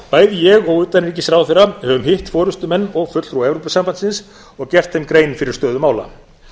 bæði ég og utanríkisráðherra höfum hitt forustumenn og fulltrúa evrópusambandsins og gert þeim grein fyrir stöðu mála